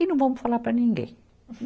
E não vamos falar para ninguém.